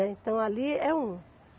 Então ali é um.